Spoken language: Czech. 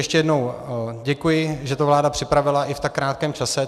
Ještě jednou děkuji, že to vláda připravila i v tak krátkém čase.